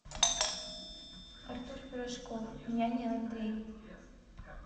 артур пирожков я не андрей